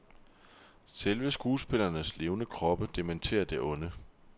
Selve skuespillernes levende kroppe dementerer det onde.